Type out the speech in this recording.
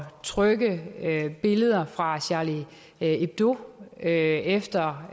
trykke billeder fra charlie hebdo efter